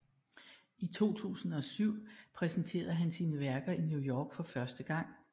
I 2007 præsenterede han sine værker i New York for første gang